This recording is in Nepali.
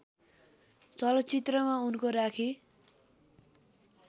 चलचित्रमा उनको राखी